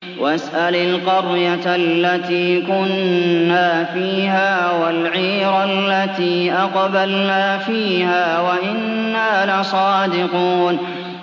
وَاسْأَلِ الْقَرْيَةَ الَّتِي كُنَّا فِيهَا وَالْعِيرَ الَّتِي أَقْبَلْنَا فِيهَا ۖ وَإِنَّا لَصَادِقُونَ